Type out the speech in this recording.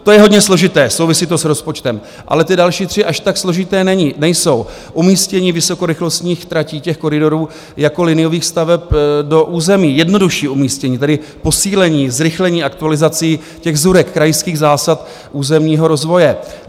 To je hodně složité, souvisí to s rozpočtem, ale ty další tři až tak složité nejsou: umístění vysokorychlostních tratí, těch koridorů, jako liniových staveb do území, jednodušší umístění, tedy posílení zrychlení aktualizací těch ZÚRek, krajských zásad územního rozvoje.